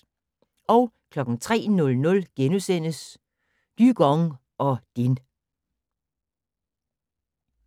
03:00: Dygong og Din *